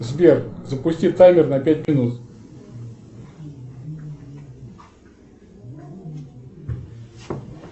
сбер запусти таймер на пять минут